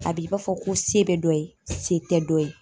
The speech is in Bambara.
A b'i b'a fɔ ko se bɛ dɔ ye se tɛ dɔ ye.